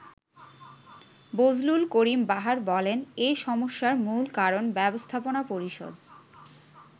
বজলুল করিম বাহার বলেন, “এ সমস্যার মূল কারণ ব্যবস্থাপনা পরিষদ।